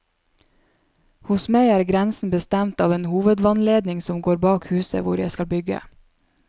Hos meg er grensen bestemt av en hovedvannledning som går bak huset, hvor jeg skal bygge.